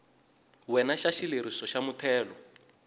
wena xa xileriso xa muthelo